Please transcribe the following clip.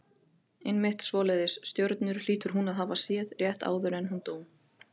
Einmitt svoleiðis stjörnur hlýtur hún að hafa séð rétt áður en hún dó.